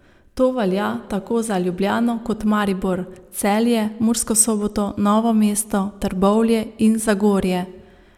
To velja tako za Ljubljano kot Maribor, Celje, Mursko Soboto, Novo mesto, Trbovlje in Zagorje.